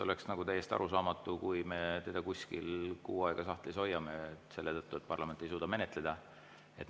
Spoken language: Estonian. Oleks täiesti arusaamatu, kui me seda kuskil kuu aega sahtlis hoiaksime selle tõttu, et parlament ei suuda menetleda.